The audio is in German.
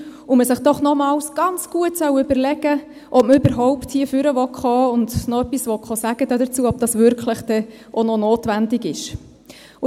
Deshalb solle man es sich doch nochmals ganz gut überlegen, ob man überhaupt hier nach vorne sprechen kommen wolle, ob dies denn wirklich überhaupt noch notwendig sei.